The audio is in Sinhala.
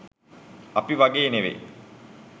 අපි වගේ ‍නෙවෙයි